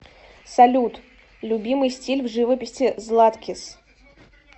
салют любимый стиль в живописи златкис